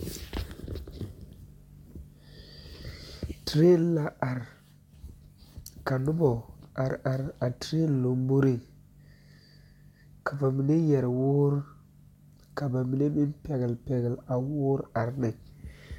Toree la are ka noba are are a Torre lamboriŋka ba mine yɛrɛ woore ka ba mine meŋ pɛgele pɛgele a woore are ne